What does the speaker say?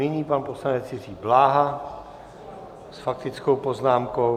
Nyní pan poslanec Jiří Bláha s faktickou poznámkou.